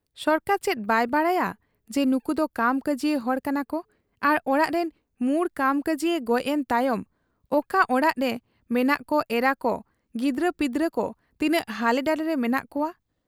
ᱥᱚᱨᱠᱟᱨ ᱪᱮᱫ ᱵᱟᱭ ᱵᱟᱰᱟᱭᱟ ᱡᱮ ᱱᱩᱠᱩᱫᱚ ᱠᱟᱢᱠᱟᱡᱤᱭᱟ ᱦᱚᱲ ᱠᱟᱱᱟᱠᱚ ᱟᱨ ᱚᱲᱟᱜᱨᱤᱱ ᱢᱩᱬ ᱠᱟᱢᱠᱟᱹᱡᱤᱭᱟ ᱜᱚᱡ ᱮᱱ ᱛᱟᱭᱚᱢ ᱚᱠᱟ ᱚᱲᱟᱜᱨᱮ ᱢᱮᱱᱟᱜ ᱠᱚ ᱮᱨᱟᱠᱚ, ᱜᱤᱫᱽᱨᱟᱹᱯᱤᱫᱽᱨᱟᱹᱠᱚ ᱛᱤᱱᱟᱹᱜ ᱦᱟᱞᱮᱰᱟᱞᱮᱨᱮ ᱢᱮᱱᱟᱜ ᱠᱚᱣᱟ ᱾